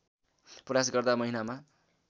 प्रयास गर्दा महिनामा